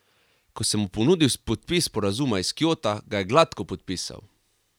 Ko sem mu ponudil podpis sporazuma iz Kjota, ga je gladko podpisal.